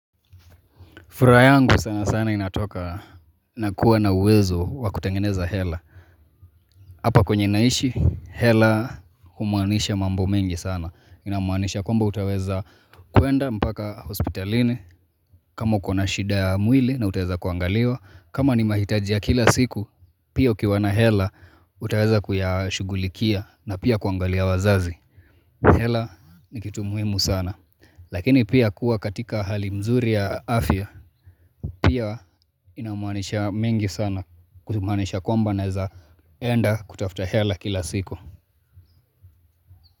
Furaha yangu sana sana inatoka na kuwa na uwezo wa kutengeneza hela. Hapa kwenye naishi, hela humaanisha mambo mengi sana. Inamaanisha kwamba utaweza kuenda mpaka hospitalini. Kama ukona shida ya mwili na utaweza kuangaliwa. Kama ni mahitaji ya kila siku, pia ukiwa na hela utaweza kuyashugulikia na pia kuangalia wazazi. Hela ni kitu muhimu sana. Lakini pia kuwa katika hali mzuri ya afya pia inamaanisha mengi sana kutumanisha kwamba naeza enda kutafuta hela kila siku.